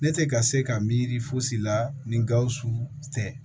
Ne tɛ ka se ka miiri fosi la ni gawusu tɛ